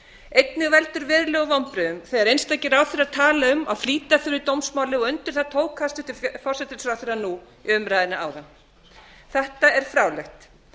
einnig veldur verulegum vonbrigðum þegar einstakir ráðherrar tala um að flýta þurfi dómsmáli og undir það tók hæstvirtur forsætisráðherra í umræðunni áðan þetta er fráleitt